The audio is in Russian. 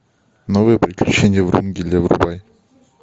новые приключения врунгеля врубай